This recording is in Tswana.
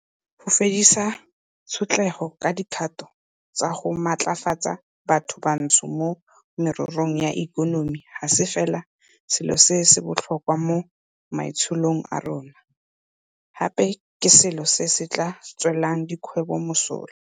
Go fedisa tshotlego ka dikgato tsa go matlafatsa bathobantsho mo mererong ya ikonomi ga se fela selo se se botlhokwa mo maitsholong a rona, gape ke selo se se tla tswelang dikgwebo mosola.